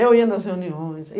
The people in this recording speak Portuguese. Eu ia nas reuniões.